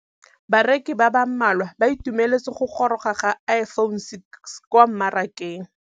Bareki ba ba malwa ba ituemeletse go gôrôga ga Iphone6 kwa mmarakeng.